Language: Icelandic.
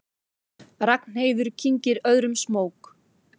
Ragnheiður kyngir öðrum smók.